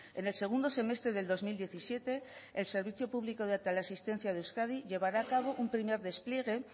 en el segundo semestre del dos mil diecisiete el servicio público de teleasistencia de euskadi llevará a cabo un primer despliegue